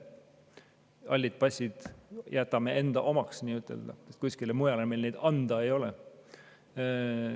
Hallide passide omanikud jätame nii-ütelda enda omaks, sest kuskile mujale meil neid anda ei ole.